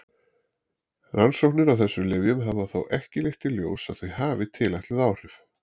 Rannsóknir á þessum lyfjum hafa þó ekki leitt í ljós að þau hafi tilætluð áhrif.